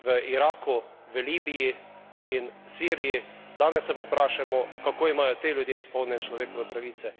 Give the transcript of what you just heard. Iraku, Libiji in Siriji, danes se pa vprašajmo, kako imajo ti ljudje izpolnjene človekove pravice.